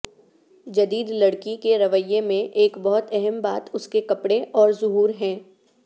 جدید لڑکی کے رویے میں ایک بہت اہم بات اس کے کپڑے اور ظہور ہے